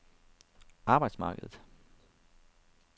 arbejdsmarkedet